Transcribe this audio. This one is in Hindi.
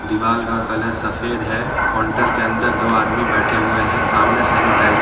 दीवाल का कलर सफेद है काउंटर के अंदर दो आदमी बैठे हुए है सामने सैनिटाइजर --